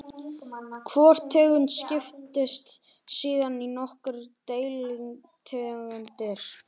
Hvor tegund skiptist síðan í nokkrar deilitegundir.